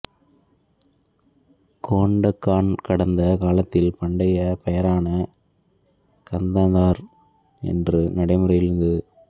கோண்டகான் கடந்த காலத்தில் பண்டைய பெயரான கந்தனார் என்று நடைமுறையில் இருந்தது